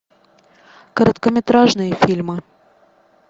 короткометражные фильмы